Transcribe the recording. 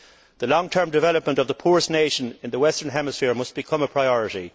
The long term development of the poorest nation in the western hemisphere must become a priority.